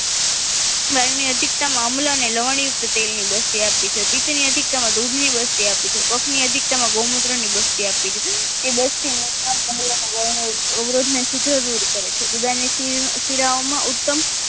વાયુ ની અધિકતમાં અમ્લ અને લવણ્ય યુક્ત તેલની બસ્તી આપી છે પિત્ત ની અધિકતા માં દૂધની બસ્તી આપી છે કફની અધિકતામાં ગૌમૂત્રની બસ્તી આપી છે એ બસ્તી મૂત્ર વર્ણ અવરોધને શીગ્ર દૂર કરે છે ઉદયની સિરાઓમાં ઉત્તમ